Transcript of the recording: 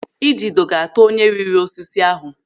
Idido ga-ata onye riri osisi ahụ.